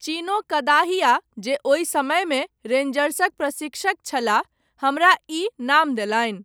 चिनो कदाहिया जे ओहि समयमे रेन्जर्सक प्रशिक्षक छलाह, हमरा ई नाम देलनि।